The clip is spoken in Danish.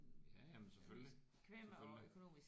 Ja ja men selvfølgelig. Selvfølgelig